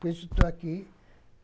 Por isso estou aqui.